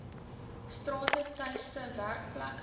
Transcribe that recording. strate tuiste werkplekke